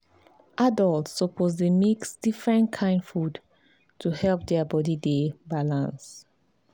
adults suppose dey mix different kain food to help their body dey balance.